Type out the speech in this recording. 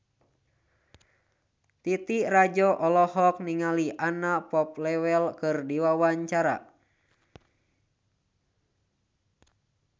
Titi Rajo Bintang olohok ningali Anna Popplewell keur diwawancara